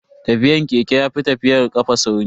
Tafiyan keke yafi tafiyar kafa sauri.